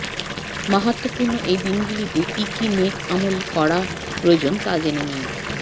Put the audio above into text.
মাহাত্ম্যপূর্ণ এই দিনগুলোতে কী কী নেক আমল করা প্রয়োজন তা জেনে নিই